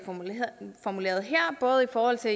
formuleret her både i forhold til